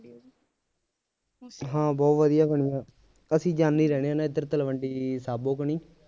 ਹਾਂ ਬਹੁਤ ਵਧੀਆ ਬਣੀ ਆ ਅਸੀ ਜਾਾਂਦੇ ਹੀ ਰਹਿੰਦੇ ਆ ਨਾ ਇੱਧਰ ਤਲਵੰਡੀ ਸਾਬੋ ਕਨੀ